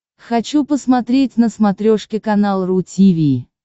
хочу посмотреть на смотрешке канал ру ти ви